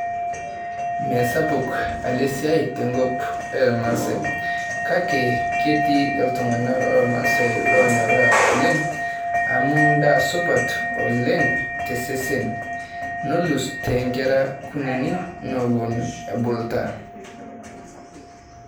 Mesapuk ele siai tenkop elmaasae, kake ketii iltung'anak lolmaasai lonyorraa oleng' amu ndaa supat oleng' tesesen, nelus toonkera kunini newuon ebuluta.